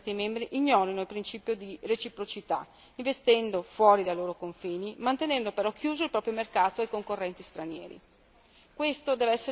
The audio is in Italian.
Non è un mistero che alcuni Stati membri ignorino il principio di reciprocità investendo fuori dai loro confini e mantenendo però chiuso il proprio mercato ai concorrenti stranieri.